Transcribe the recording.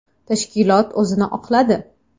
Tashkilot o‘zini oqladi.